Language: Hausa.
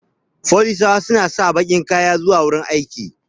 Folisawa suna sa bakin kaya dan zuwa wajan aiki